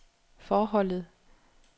forholdet